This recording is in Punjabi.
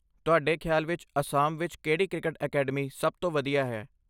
ਤੁਹਾਡੇ ਖ਼ਿਆਲ ਵਿੱਚ ਅਸਾਮ ਵਿੱਚ ਕਿਹੜੀ ਕ੍ਰਿਕਟ ਅਕੈਡਮੀ ਸਭ ਤੋਂ ਵਧੀਆ ਹੈ?